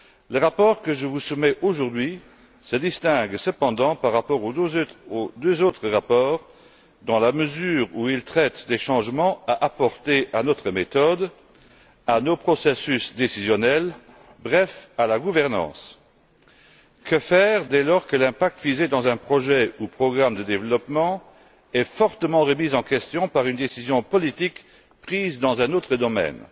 Le rapport que je vous soumets aujourd'hui se distingue cependant des deux autres rapports, dans la mesure où il traite des changements à apporter à notre méthode, à nos processus décisionnels, bref, à la gouvernance. Que faire dès lors que l'impact visé par un projet ou un programme de développement est fortement remis en question par une décision politique prise dans un autre domaine?